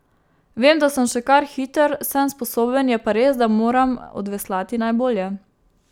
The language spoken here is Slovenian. Vem, da sem še kar hiter, sem sposoben, je pa res, da moram odveslati najbolje.